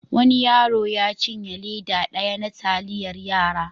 Wani yaro ya cinye leda daya na taliyar yara.